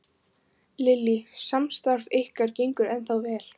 Lillý: Samstarf ykkar gengur ennþá vel?